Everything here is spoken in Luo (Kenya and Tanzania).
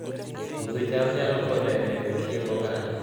Puodho cham nyalo konyo e medo chiemb oganda